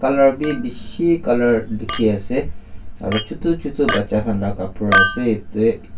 colour bi beshi colour dekhi ase aro chotu chotu bacha khanla kabra ase yete.